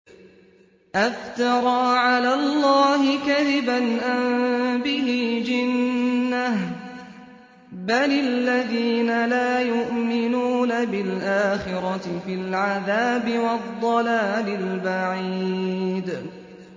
أَفْتَرَىٰ عَلَى اللَّهِ كَذِبًا أَم بِهِ جِنَّةٌ ۗ بَلِ الَّذِينَ لَا يُؤْمِنُونَ بِالْآخِرَةِ فِي الْعَذَابِ وَالضَّلَالِ الْبَعِيدِ